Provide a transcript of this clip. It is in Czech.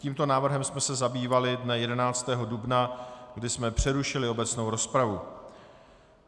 Tímto návrhem jsem se zabývali dne 11. dubna, kdy je přerušili obecnou rozpravu.